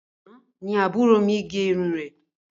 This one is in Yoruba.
Àna ní àbúrò mí gẹ irun rẹ